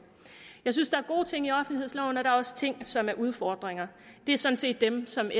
jeg synes der er gode ting i offentlighedsloven og der er også ting som er udfordringer det er sådan set dem som